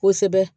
Kosɛbɛ